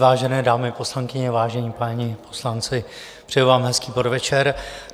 Vážené dámy poslankyně, vážení páni poslanci, přeji vám hezký podvečer.